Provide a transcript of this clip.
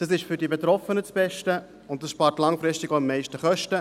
Dies ist für die Betroffenen das Beste und spart langfristig am meisten Kosten.